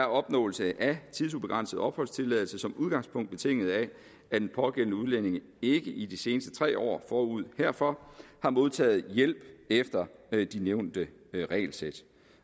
opnåelse af tidsubegrænset opholdstilladelse som udgangspunkt betinget af at den pågældende udlænding ikke i de seneste tre år forud herfor har modtaget hjælp efter de nævnte regelsæt